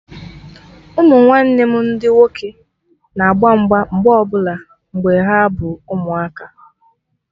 Ụmụnwanne m ndị nwoke na agba mgba mgbe ọbụla mgbe ha bụ ụmụaka